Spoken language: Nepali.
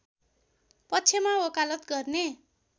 पक्षमा वकालत गर्ने